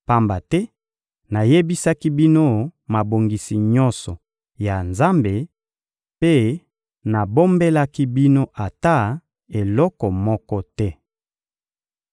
pamba te nayebisaki bino mabongisi nyonso ya Nzambe mpe nabombelaki bino ata eloko moko te.